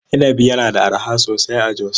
Inabi yana da arha sosai a Jos.